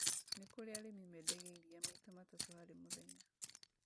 Nĩ kũrĩ arĩmi mendagia irira maita matatũ harĩ mũthenya